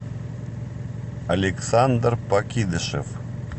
александр покидышев